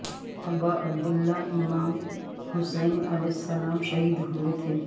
ابا عبداللہ امام حسین علیہ السلام شہید ہو ئے تھے